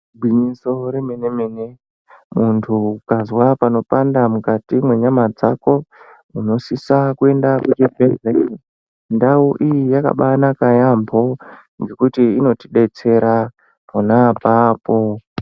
Igwinyiso remene-mene muntu ukazwe panopanda mukati mwenyama dzako unosisa kuenda kuchibhedhlera, Ndau iyi yakabaanaka yaamho ngekuti inotidetsera pona apapo.